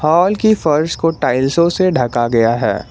Hall की फर्श को टाइल्सो से ढका गया है।